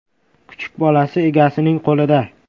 Kuchuk bolasi egasining qo‘lida.